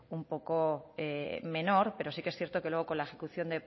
un poco menor pero sí que es cierto que luego con la ejecución